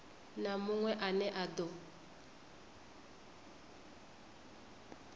na munwe ane a do